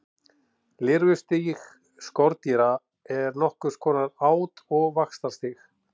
Lirfustig skordýra er nokkurs konar át- og vaxtarstig.